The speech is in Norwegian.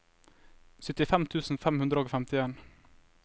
syttifem tusen fem hundre og femtifem